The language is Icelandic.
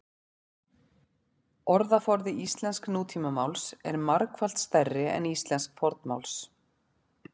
Orðaforði íslensks nútímamáls er margfalt stærri en íslensks fornmáls.